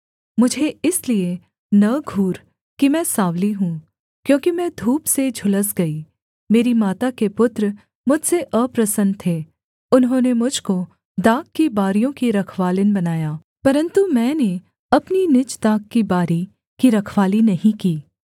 मुझे इसलिए न घूर कि मैं साँवली हूँ क्योंकि मैं धूप से झुलस गई मेरी माता के पुत्र मुझसे अप्रसन्न थे उन्होंने मुझ को दाख की बारियों की रखवालिन बनाया परन्तु मैंने अपनी निज दाख की बारी की रखवाली नहीं की